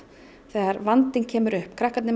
þegar vandinn kemur upp krakkarnir